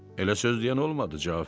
Elə söz deyən olmadı.